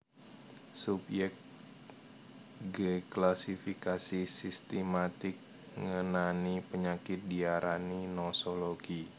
Subyek gklasifikasi sistimatik ngenani panyakit diarani nosologi